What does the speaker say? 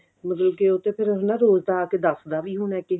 ਮਤਲਬ ਕਿ ਉਹ ਤਾਂ ਫਿਰ ਰੋਜ ਦਾ ਆਕੇ ਦੱਸ ਦਾ ਵੀ ਹੋਣਾ